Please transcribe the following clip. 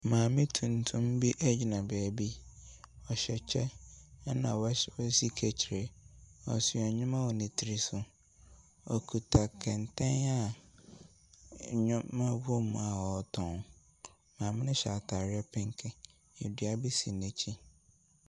Maame tuntum bi gyina baabi. Ɔhyɛ kyɛ na wahy wasi kahyire. Ɔso nneɛma wɔ ne tiri so. Ɔkita kɛntɛn a nneɛma wɔ mu a ɔretɔn. Maame no hyɛ atare penke Dua bi si n'akyi.